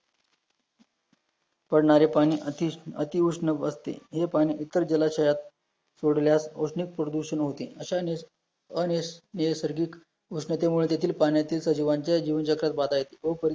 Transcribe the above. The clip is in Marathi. पडणारे पाणी अतिश अति उष्णव असते, हे पाणी इतर जलाशयात सोडल्यास औष्णिक प्रदूषण होते, अशाने अनेक नैसर्गिक उष्णते मुळे देखील पाण्याचे सजीवांच्या जीवनचक्रात बाधा येते व